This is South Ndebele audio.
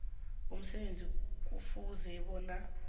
emsebenzini kufuze bona